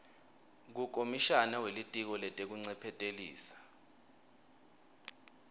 kukomishana welitiko letekuncephetelisa